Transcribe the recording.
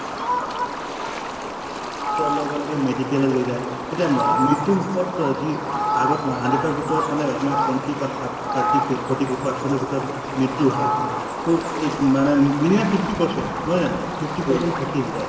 লগে লগে medical এ লৈ যায় । এতিয়া ম মৃতুমুখত যি আগত hundred ৰ ভিতৰত মানে আপোনাৰ twenty বা থা thirty forty percent ৰ ভিতৰত মৃত্যু হয়। টো এই মানে minimum fifty percent নহয় জানো । fifty percent থাকি যায়।